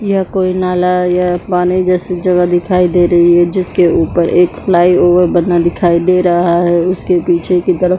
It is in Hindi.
यह कोई नाला या पानी जैसी जगह दिखाई दे रही है जिसके ऊपर एक फ्लाईओवर बना दिखाई दे रहा है उसके पीछे की तरफ--